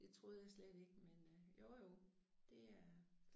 Det troede jeg slet ikke men øh jo jo det er